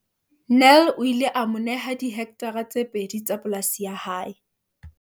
Nel o ile a mo neha dihektare tse pedi tsa polasi ya hae.